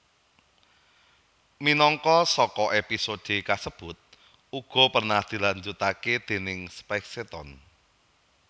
Minangka saka episode kasebut uga pernah dilanjutaké déning Spacetoon